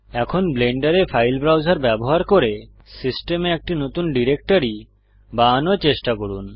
এখন ব্লেন্ডারে file browser ব্যবহার করে সিস্টেমে একটি নতুন ডিরেক্টরি বানানোর চেষ্টা করুন